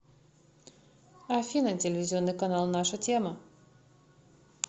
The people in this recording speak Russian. афина телевизионный канал наша тема